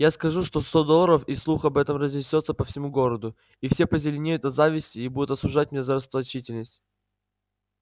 я скажу что сто долларов и слух об этом разнесётся по всему городу и все позеленеют от зависти и будут осуждать меня за расточительность